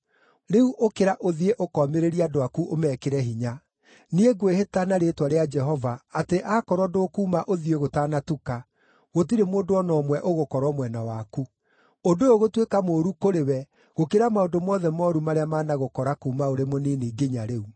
Rĩu ũkĩra ũthiĩ ũkoomĩrĩrie andũ aku ũmekĩre hinya. Niĩ ngwĩhĩta na rĩĩtwa rĩa Jehova atĩ aakorwo ndũkuuma ũthiĩ gũtanatuka, gũtirĩ mũndũ o na ũmwe ũgũkorwo mwena waku. Ũndũ ũyũ ũgũtuĩka mũũru kũrĩ we gũkĩra maũndũ mothe mooru marĩa managũkora kuuma ũrĩ mũnini nginya rĩu.”